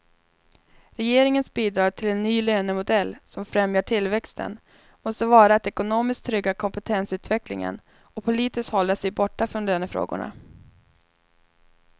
Regeringens bidrag till en ny lönemodell som främjar tillväxten måste vara att ekonomiskt trygga kompetensutvecklingen och politiskt hålla sig borta från lönefrågorna.